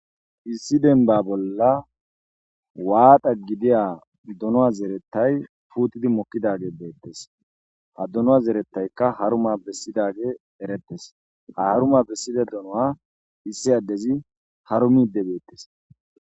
Issi denba bolla waaqa gidiya dunoa zerettay puutidi mokkidage beettes ha dunoa zeretaykka haruma bessidage erettes aharuma bessida dunoa issi addezi haru mi debeettes